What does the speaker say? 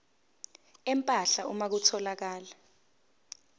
empahla uma kutholakala